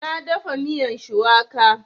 Na dafa miyan shuwaka